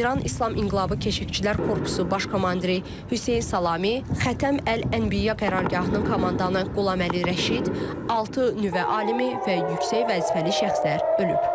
İran İslam İnqilabı Keşikçilər Korpusu baş komandiri Hüseyn Salami, Xətəm Əl-Ənbiyə qərargahının komandanı Qulaməli Rəşid, altı nüvə alimi və yüksək vəzifəli şəxslər ölüb.